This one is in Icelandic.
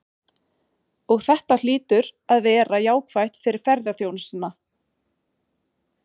Og þetta hlýtur að vera jákvætt fyrir ferðaþjónustuna?